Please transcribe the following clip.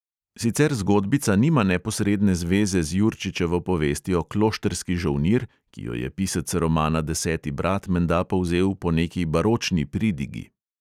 Sicer zgodbica nima neposredne zveze z jurčičevo povestjo kloštrski žolnir, ki jo je pisec romana deseti brat menda povzel po neki baročni pridigi.